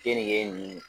Keninge nin